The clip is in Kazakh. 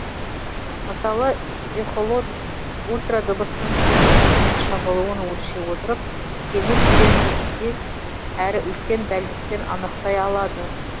мысалы эхолот ультрадыбыстың теңіз түбінен шағылуын өлшей отырып теңіз тереңдігін тез әрі үлкен дәлдікпен анықтай алады